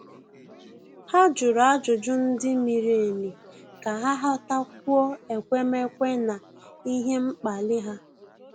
Há jụ̀rụ́ ájụ́jụ́ ndị miri emi kà há ghọ́tákwúọ́ ekwemekwe na ihe mkpali ha.